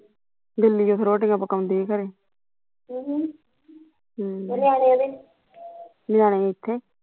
ਦਿੱਲੀ ਉੱਥੇ ਰੋਟੀਆਂ ਪਕਾਉਂਦੀ ਖਰੇ ਅਹ ਹਮ ਨਿਆਣੇ ਇੱਥੇ